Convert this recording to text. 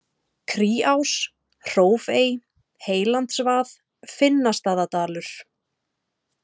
Kríás, Hrófey, Heylandsvað, Finnastaðadalur